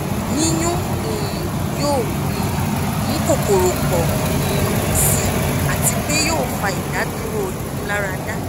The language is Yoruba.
yiyun um yoo um mu kokoro pọ um si ati pe yoo fa idaduro imularada